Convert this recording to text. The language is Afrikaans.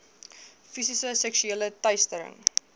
fisiese seksuele teistering